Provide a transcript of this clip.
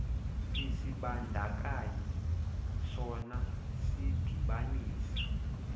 isibandakanyi sona sidibanisa